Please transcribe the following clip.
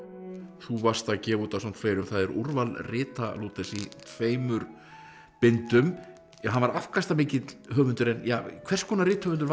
þú varst að gefa út ásamt fleirum úrval rita Lúthers í tveimur bindum hann var afkastamikill höfundur en hvers konar rithöfundur var